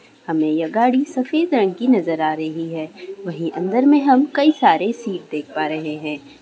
हमें यह गाड़ी सफेद रंग की नजर आ रही है वही हम अंदर में कई सारे सीट देख पा रहे है ।